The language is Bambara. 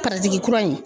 kura in